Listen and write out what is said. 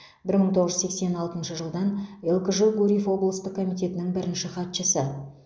бір мың тоғыз жүз сексен алтыншы жылдан лкжо гурьев облыстық комитетінің бірінші хатшысы